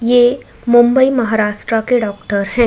ये मुंबई महाराष्ट्रा के डॉक्टर हैं।